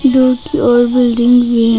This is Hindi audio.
दूर की ओर बिल्डिंग भी है।